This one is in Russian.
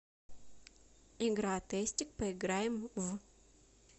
игра тестик поиграем в